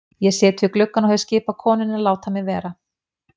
Ég sit við gluggann og hef skipað konunni að láta mig vera.